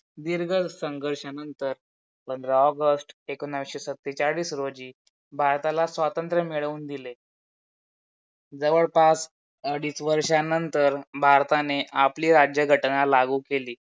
दीर्घ संघर्षानंतर पंधरा ऑगस्ट एकोणीशे सत्तेचाळीस रोजी भारताला स्वतंत्र्य मिळऊन दिले. जवळपास अडीच वर्षानंतर भारताने आपली राज्यघटना लागू केली.